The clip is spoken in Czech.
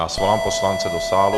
Já svolám poslance do sálu.